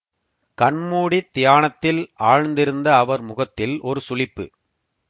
கண்மூடித் தியானத்தில் ஆழ்ந்திருந்த அவர் முகத்தில் ஒரு சுளிப்பு